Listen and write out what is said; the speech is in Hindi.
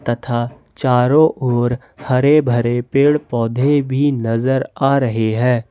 तथा चारों ओर हरे भरे पेड़ पौधे भी नज़र आ रहे हैं।